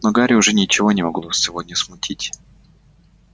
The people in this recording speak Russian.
но гарри уже ничего не могло сегодня смутить